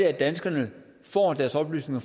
er danskerne får deres oplysninger